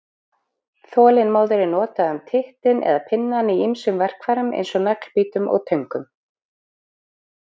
Þolinmóður er notað um tittinn eða pinnann í ýmsum verkfærum eins og naglbítum og töngum.